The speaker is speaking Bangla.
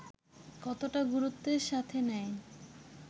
কতটা গুরুত্বের সাথে নেয়